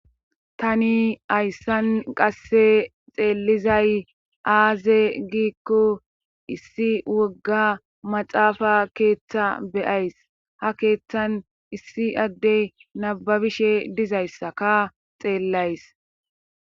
Tani hayssan qasse xeellizay aaze giikko issi wogga maxaafa keeththa be'ays ha keeththan issi addey nababishe dizayssaka xeellays